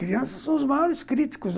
Crianças são os maiores críticos.